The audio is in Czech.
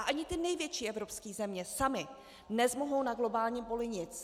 A ani ty největší evropské země samy nezmohou na globálním poli nic.